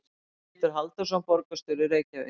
Pétur Halldórsson, borgarstjóri í Reykjavík.